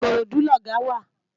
Ikorodu lògá wá